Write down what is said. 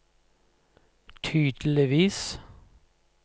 tydeligvis